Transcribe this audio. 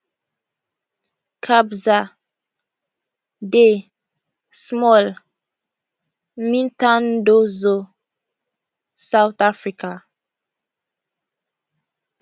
kabza de small imithandazo south africa